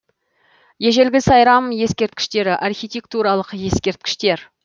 ежелгі сайрам ескерткіштері архитектуралық ескерткіштер